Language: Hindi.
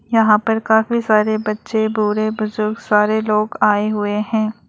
यहां पर काफी सारे बच्चे बूढ़े बुजुर्ग सारे लोग आए हुए हैं।